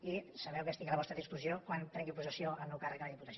i sabeu que estic a la vostra disposició quan prengui possessió del meu càrrec a la diputació